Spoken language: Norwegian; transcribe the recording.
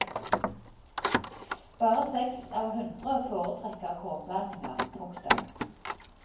Bare seks av hundre foretrekker kornblandinger. punktum